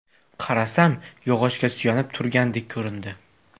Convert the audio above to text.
Qarasam, yog‘ochga suyanib turgandek ko‘rindi.